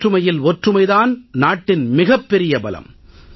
வேற்றுமையில் ஒற்றுமை தான் நாட்டின் மிகப் பெரிய பலம்